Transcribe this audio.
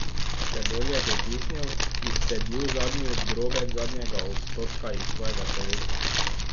Še bolj je pritisnil, izcedil zadnji drobec zadnjega odstotka iz svojega telesa.